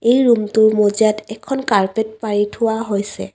এই ৰুমটো মজিয়াত এখন কাৰ্পেট পাৰি থোৱা হৈছে।